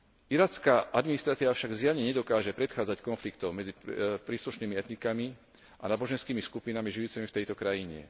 Iracká administratíva však zjavne nedokáže predchádzať konfliktom medzi príslušnými etnikami a náboženskými skupinami žijúcimi v tejto krajine.